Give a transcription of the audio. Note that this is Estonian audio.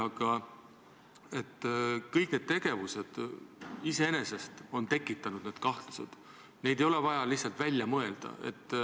Aga kõik need tegevused iseenesest on need kahtlused tekitanud, neid ei ole vaja välja mõelda.